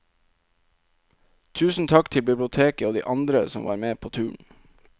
Tusen takk til biblioteket og de andre som var med på turen.